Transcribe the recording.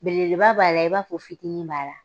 Belebeleba b'a la, i b'a fɔ fitini b'a la.